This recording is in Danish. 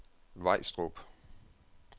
Vejstrup